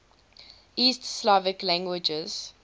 east slavic languages